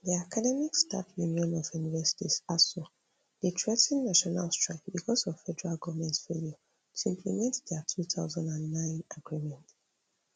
di academic staff union of universities asuu dey threa ten national strike becos of federal goment failure to implement dia two thousand and nine agreement